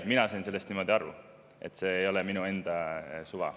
Mina sain sellest niimoodi aru, see ei ole minu enda suva.